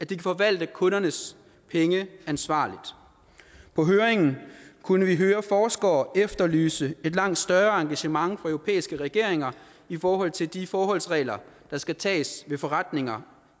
kan forvalte kundernes penge ansvarligt på høringen kunne vi høre forskere efterlyse et langt større engagement fra europæiske regeringer i forhold til de forholdsregler der skal tages ved forretninger